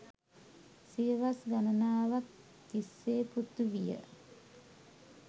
සියවස් ගණනාවක් තිස්සේ පෘථිවිය